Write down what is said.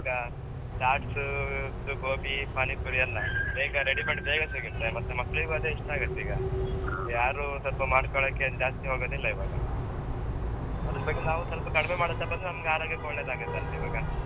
ಈವಾಗ chats gobi, panipuri ಎಲ್ಲ ಬೇಗ ready ಮಾಡಿ, ಬೇಗ ಸಿಗತ್ತೆ, ಮತ್ತೆ ಮಕ್ಳಿಗು ಅದೇ ಇಷ್ಟ ಆಗತ್ತೆ ಈಗ. ಯಾರೂ ಸ್ವಲ್ಪ ಮಾಡ್ಕೋಳಿಕ್ಕೆ ಏನು ಜಾಸ್ತಿ ಹೋಗೋದಿಲ್ಲ ಈವಾಗ. ಅದ್ರ ಬಗ್ಗೆ ನಾವು ಸ್ವಲ್ಪ ಕಡಿಮೆ ಮಾಡುತ್ತಾ ಬಂದ್ರೆ ಆರೋಗ್ಯಕ್ಕೆ ಒಳ್ಳೇದಾಗತ್ತೆ ಅಷ್ಟೆ ಈವಾಗ.